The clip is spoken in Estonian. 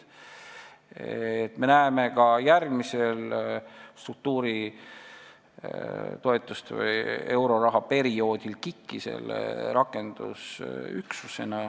Me näeme KIK-i rakendusüksusena ka järgmisel struktuuritoetuste või euroraha perioodil.